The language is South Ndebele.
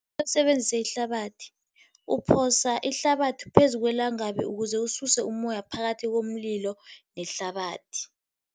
basebenzise ihlabathi, uphosa ihlabathi phezu kwelangabi ukuze ususe umoya phakathi komlilo nehlabathi.